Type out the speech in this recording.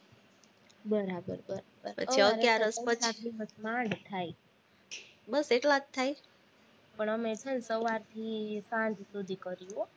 બરાબર માંડ થાય થાય પણ અમે છે ને સવારથી સાંજ સુધી કરીએ,